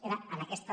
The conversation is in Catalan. era en aquesta